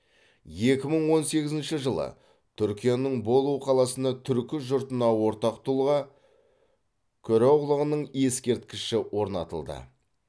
екі мың он сегізінші жылы түркияның болу қаласына түркі жұртына ортақ тұлға көроғлының ескерткіші орнатылды